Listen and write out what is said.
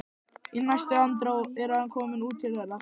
Í næstu andrá er hann kominn út til þeirra.